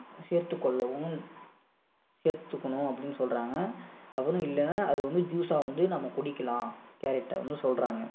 சேர்த்துக் கொள்ளவும் சேர்த்துக்கணும் அப்படின்னு சொல்றாங்க அப்படியும் இல்ல அதை வந்து juice ஆ வந்து நம்ம குடிக்கலாம் carrot ஐன்னு சொல்றாங்க